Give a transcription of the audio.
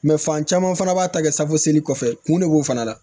fan caman fana b'a ta kɛ safoseli kɔfɛ kun de b'o fana la